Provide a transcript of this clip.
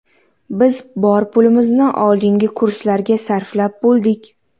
Biz bor pulimizni oldingi kurslarda sarflab bo‘ldik.